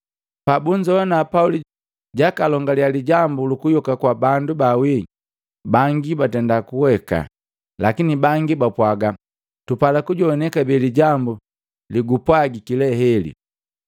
Pabunzoana Pauli jakalongalia lijambu luku yoka kwa bandu baawii, bangi baabuha luheku, lakini bangi bapwaga, “Tupala kujowana kabee lijambu legupwagiki le heli!”